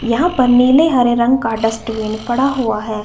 यहाँ पर नीले हरे रंग का डस्टबिन पड़ा हुआ हैं।